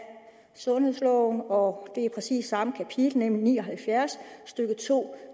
sundhedsloven og det er præcis samme kapitel nemlig § ni og halvfjerds stykke to